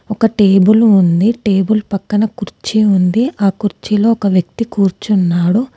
ఒక టేబుల్ ఉంది టేబుల్ పక్కన కుర్చీ ఉంది ఆ కుర్చీలో ఒక వ్యక్తి కూర్చున్నాడు.